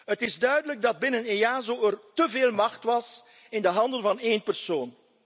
Het is duidelijk dat er binnen EASO te veel macht was in de handen van één persoon.